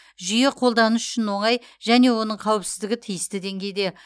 жүйе қолданыс үшін оңай және оның қауіпсіздігі тиісті деңгейде